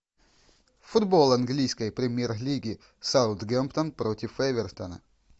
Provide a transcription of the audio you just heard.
футбол английской премьер лиги саутгемптон против эвертона